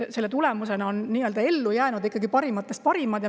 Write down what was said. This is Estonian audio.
Selle tulemusena on nii-öelda ellu jäänud parimatest parimad.